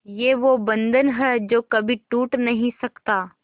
ये वो बंधन है जो कभी टूट नही सकता